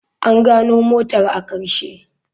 An gano motar a ƙarshe.